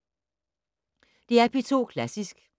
DR P2 Klassisk